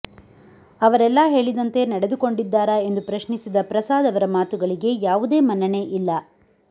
ಅವರೆಲ್ಲಾ ಹೇಳಿ ದಂತೆ ನಡೆದುಕೊಂಡಿದ್ದಾರಾ ಎಂದು ಪ್ರಶ್ನಿಸಿದ ಪ್ರಸಾದ್ ಅವರ ಮಾತುಗಳಿಗೆ ಯಾವುದೇ ಮನ್ನಣೆ ಇಲ್ಲ